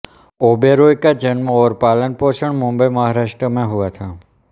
ओबेरॉय का जन्म और पालनपोषण मुंबई महाराष्ट्र में हुआ था